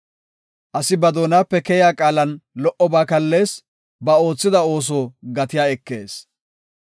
Asi ba doonape keyiya qaalan lo77oba kallees; ba oothida ooso gatiya ekees.